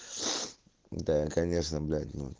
да конечно блять ну